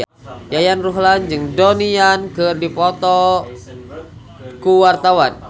Yayan Ruhlan jeung Donnie Yan keur dipoto ku wartawan